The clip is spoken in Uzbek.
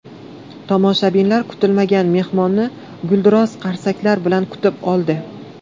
Tomoshabinlar kutilmagan mehmonni gulduros qarsaklar bilan kutib oldi.